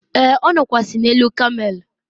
e, ọ nọkwasi n'elu kamel